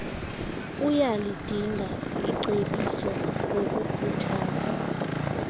uyalidinga icebiso ngokukhuthaza